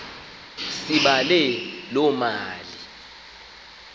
sibale loo mali